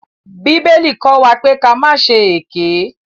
Bíbélì kọ́ wa pé ka má ṣe èké.